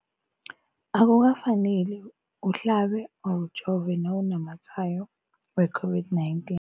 Akuka faneli uhlabe, ujove nawu namatshayo we-COVID-19.